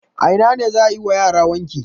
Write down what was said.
A ina ne za a yi wa yara wanki?